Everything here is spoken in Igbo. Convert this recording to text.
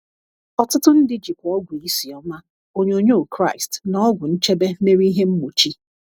Ọtụtụ ndị jikwa ọgwụ isi ọma, onyonyo Kraịst, na ọgwụ nchebe mere ihe mgbochi.